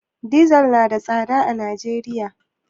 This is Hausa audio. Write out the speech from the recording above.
Dizal na da tsada a Najeriya.